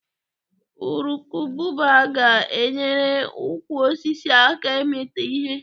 Urukubụba ga-enyere ukwu osisi aka ịmịta ihe.